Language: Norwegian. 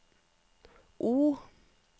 O